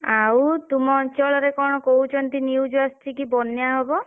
ଆଉ ତୁମ ଅଞ୍ଚଳରେ କଣ କହୁଛନ୍ତି news ଆସିଛି କି ବନ୍ୟା ହବ?